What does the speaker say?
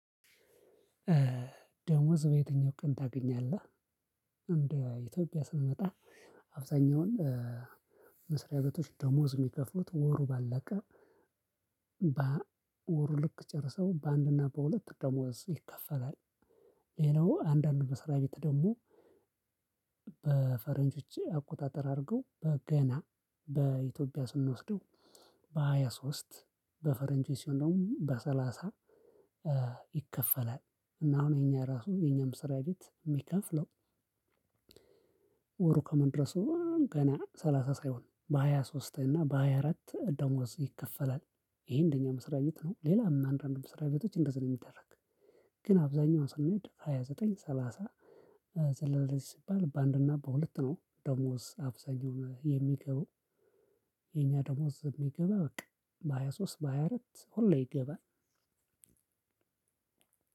ደሞዝ በየትኛው ቀን ታገኛለህ እንደ ኢትዮጵያ ስንመጣ አብዛኛውን መስሪያ ቤቶች ደሞዝ የሚከፍሉት ወሩ ባለቀ በወሩ ልክ ጨርሰው በአንድ እና በሁለት ደሞዝ ይከፈላል። ሌላው አንዳንድ መስሪያ ቤት ደግሞ። በፈረንጆች አቆጣጠር አድርገው በገና በኢትዮጵያ ስንወስደው በሃያ ሶስት በፈረንጆች ሲሆን ደግሞ በሰላሳ ይከፈላል። እና አሁን የኛ ራሱ የኛም መስራ ቤት የምከፍለው ወሩ ከመድረሱ ገና ሰላሳ ሳይሆን በሃያ ሶስት እና በሃያ አራት ደሞዝ ይከፈላል። ይሄ እንደኛ መስሪያ ቤት ነው ሌላ አንዳንድ መስሪያ ቤቶች እንደዚህ ነው የሚደረግ። ግን አብዛኛው ስኔድ ሃያ ዘጠኝ ሰላሳ ሰለሳ ስባል በአንድና በሁለት ነው ደሞዝ አብዛኛው የምገባው። የኛ ደሞዝ የምገባ በቃ በሃያ ሶስት በሃያ አራት ሁሌ ይገባል።